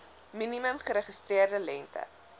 minimum geregistreerde lengte